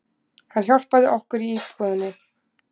Hann hjálpaði okkur í búðinni